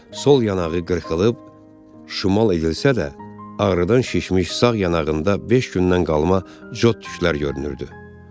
Sol yanağı qırxılıb, şimal edilsə də, ağrıdan şişmiş sağ yanağında beş gündən qalma yod tüklər görünürdü.